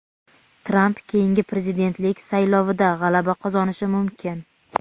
Tramp keyingi prezidentlik saylovida g‘alaba qozonishi mumkin.